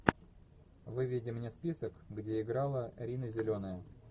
выведи мне список где играла рина зеленая